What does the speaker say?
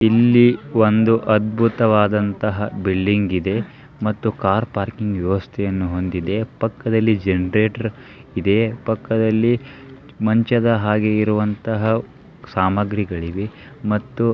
ಇಲ್ಲಿ ಒಂದು ಅದ್ಭುತವಾದಂತಹ ಬಿಲ್ಡಿಂಗ್ ಇದೆ ಮತ್ತು ಕಾರ್ ಪಾರ್ಕಿಂಗ್ ವ್ಯವಸ್ಥೆಯನ್ನು ಹೊಂದಿದೆ ಪಕ್ಕದ್ದಲ್ಲಿ ಜನರೇಟರ್ ಇದೆ ಪಕ್ಕದ್ದಲ್ಲಿ ಮಂಚದ ಹಾಗೆ ಇರುವಂತಹ ಸಾಮಗ್ರಿಗಳಿವೆ ಮತ್ತು --